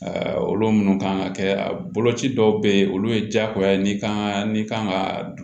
olu minnu kan ka kɛ a boloci dɔw bɛ ye olu ye diyagoya ye n'i kan n'i kan ka dun